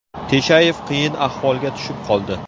Teshayev qiyin ahvolga tushib qoldi.